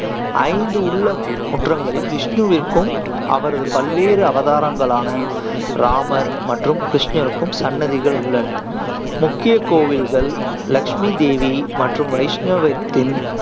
ஐந்து உள்ள முற்றங்களில் விஷ்ணுவிற்கும் அவரது பல்வேறு அவதாரங்களான ராமர் மற்றும் கிருஷ்ணருக்கும் சன்னதிகள் உள்ளன. முக்கிய கோவில்கள் லட்சுமி தேவி மற்றும் வைஷ்ணவத்தின்